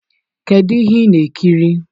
Kedu ihe ị na-ekiri